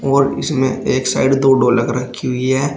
और इसमें एक साइड दो ढोलक रखी हुई है।